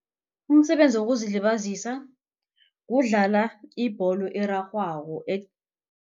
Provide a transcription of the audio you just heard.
Umsebenzi wokuzilibazisa kudlala ibholo erarhwako